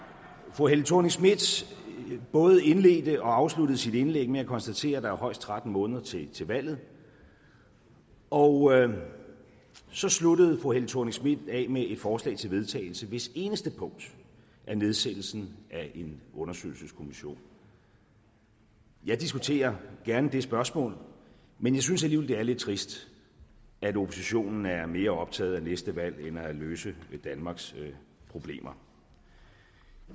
fru helle thorning schmidt både indledte og afsluttede sit indlæg med at konstatere at der højst er tretten måneder til til valget og så sluttede fru helle thorning schmidt af med et forslag til vedtagelse hvis eneste punkt er nedsættelse af en undersøgelseskommission jeg diskuterer gerne det spørgsmål men jeg synes alligevel det er lidt trist at oppositionen er mere optaget af næste valg end af at løse danmarks problemer